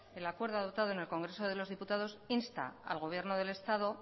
el acuerdo adoptado en congreso de los diputados insta al gobierno del estado